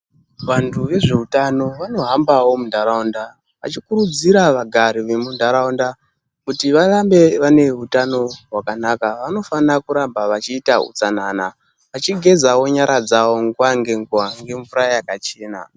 Vantu vezveutano vanohambawo muntaraunda vachikurudziira vagari vemuntaruanda kuti varambe vane utano hwakanaka. Vanofana kuramba vachiita utsanana vachigezawo nyara dzawo nguva ngenguva ngemvura yakachena.